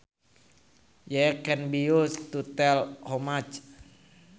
Yea can be used to tell how much